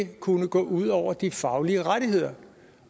kunne gå ud over de faglige rettigheder